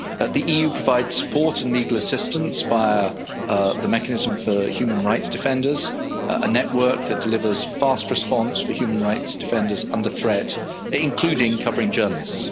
The EU provides support and legal assistance via the mechanism for human rights defenders, a network that delivers fast response for human rights defenders under threat, including covering journalists.